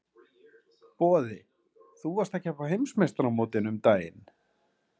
Boði: Þú varst að keppa á heimsmeistaramótinu um daginn?